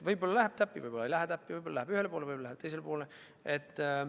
Võib-olla läheb täppi, võib-olla ei lähe täppi, võib-olla läheb ühele poole, võib-olla läheb teisele poole.